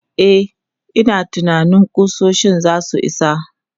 E, ina tunanin ƙusoshin za su isa.